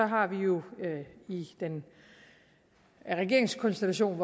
har vi jo i den regeringskonstellation